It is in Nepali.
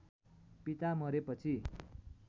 पिता मरेपछि